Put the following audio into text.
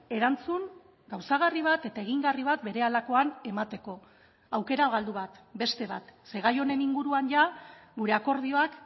erantzun gauzagarri bat eta egingarri bat berehalakoan emateko aukera galdu bat beste bat ze gai honen inguruan jada gure akordioak